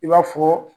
I b'a fɔ